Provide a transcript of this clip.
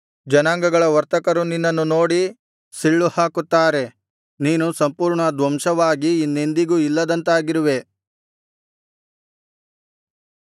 ಜನಾಂಗಗಳ ವರ್ತಕರು ನಿನ್ನನ್ನು ನೋಡಿ ಸಿಳ್ಳು ಹಾಕುತ್ತಾರೆ ನೀನು ಸಂಪೂರ್ಣ ಧ್ವಂಸವಾಗಿ ಇನ್ನೆಂದಿಗೂ ಇಲ್ಲದಂತಾಗಿರುವೆ